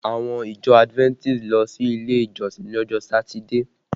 Àwọn ìjọ Adventist ń lọ ilé ìjọsìn lọ́jọ́ Satide